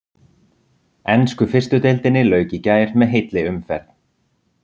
Ensku fyrstu deildinni lauk í gær með heilli umferð.